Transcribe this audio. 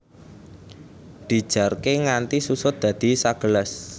Dijarké nganti susut dadi sagelas